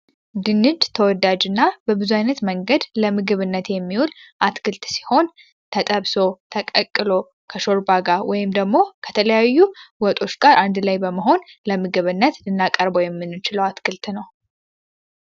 ድንች ተወዳጅ እና በብዙይነት መንገድ ለምግብነት የሚውል አትክልት ሲሆን፤ ተጠብሶ፣ ተቀቅሎ፣ ከሾርባ ጋር ወይም ደግሞ ከተለያዩ ወጦች ጋር አንድ ላይ በመሆን ለምግብነት ልናቀርበ የሚኖችለው አትክልት ነው።